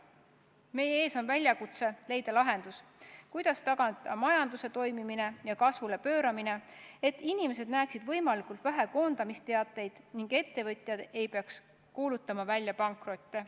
Meie ees on väljakutse leida lahendus, kuidas tagada majanduse toimimine ja kasvule pööramine, et inimesed näeksid võimalikult vähe koondamisteateid ning ettevõtjad ei peaks kuulutama välja pankrotte.